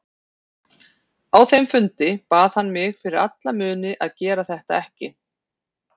Á þeim fundi bað hann mig fyrir alla muni að gera þetta ekki.